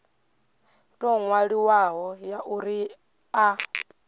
tou ṅwaliwaho ya uri a